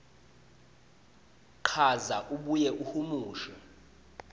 chaza abuye ahumushe